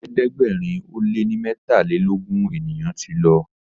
ẹ̀ẹ́dẹ̀gbẹ̀rin o lẹ ní metalelogun ènìyàn tí ló